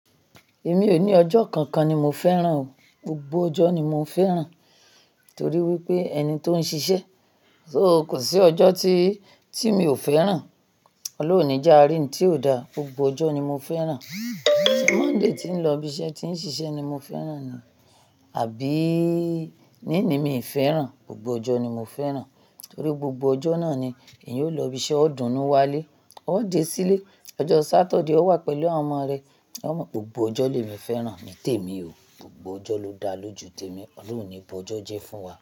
Èmi ò ní ọjọ́ kankan ni mo fẹ́ràn o. Gbogbo ọjọ́ ni mo fẹ́ràn torí wípé ẹni tó ń ṣiṣẹ́, so kò sí ọjọ́ tí, tí mi ò fẹ́ràn. Ọlọ́run o ní jẹ àárí n tí ò da, gbogbo ọjọ́ ni mo fẹ́ràn. Monday tí ń lọ ibiṣẹ́, tí ń ṣiṣẹ́ ni mo fẹ́ràn ni, àbí níní mi ì fẹ́ràn, gbogbo ọjọ́ ni mo fẹ́ràn. Torí gbogbo ọjọ́ náà ni èèyàn ó lọ ibiṣẹ́, ó dùnún wá lé, ó dé sílé. Ọjọ́ Saturday ó wà pẹ̀lú àwọn ọmọ rẹ. Gbogbo ọjọ́ lè mi fẹ́ràn ni tèmi o, gbogbo ọjọ́ ló da lójú tèmi. Ọlọ́run ní bọ ọjọ́ jẹ fún wa.